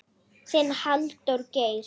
Þinn, Halldór Geir.